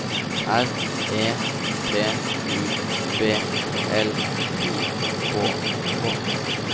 R E P U B L I K K